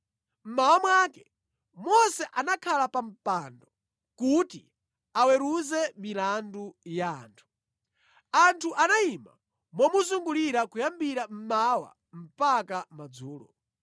Mmawa mwake, Mose anakhala pa mpando kuti aweruze milandu ya anthu. Anthu anayima momuzungulira kuyambira mmawa mpaka madzulo.